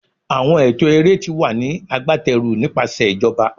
Awọn ẹtọ ere ti wa ni agbateru nipasẹ ijoba